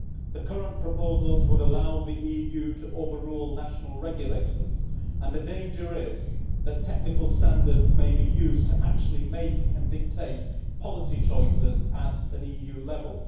The current proposals would allow the EU to overrule national regulators, and the danger is that technical standards may be used to actually make and dictate policy choices at an EU level.